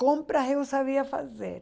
Compras eu sabia fazer.